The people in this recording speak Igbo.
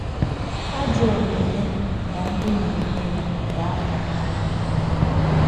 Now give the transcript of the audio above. Àjò òmùmè nà ńdí nà-èmè yà gà-àpù n’ányà.